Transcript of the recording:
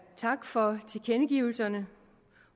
tak for tilkendegivelserne